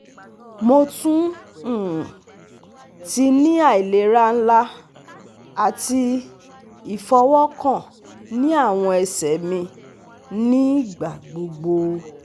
Mo tun um ti ni ailera nla ati ifọwọkan ni awọn ẹsẹ mi nigbagbogbo